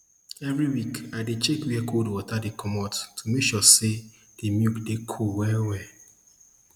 every week i dey check where cold water dey comot to make sure say de milk dey cool well